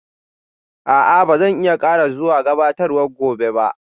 A'a, ba zan ƙara zuwa gabatarwar gobe ba